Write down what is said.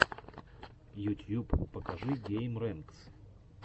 ютьюб покажи геймрэнкс